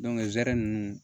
zɛrɛn nunnu